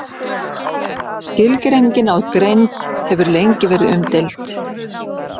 Skilgreiningin á greind hefur lengi verið umdeild.